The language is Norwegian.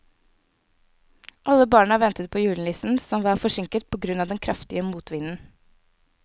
Alle barna ventet på julenissen, som var forsinket på grunn av den kraftige motvinden.